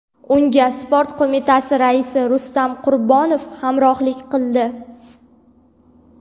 Unga Sport Qo‘mitasi raisi Rustam Qurbonov hamrohlik qildi.